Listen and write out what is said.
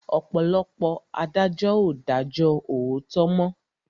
Ọ̀pọ̀lọpọ̀ adájọ́ ò dájó òòtó mọ́.